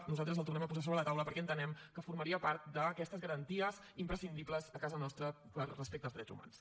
nosaltres el tornem a posar sobre la taula perquè entenem que formaria part d’aquestes garanties imprescindibles a casa nostra respecte als drets humans